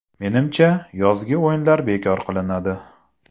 Menimcha, yozgi o‘yinlar bekor qilinadi.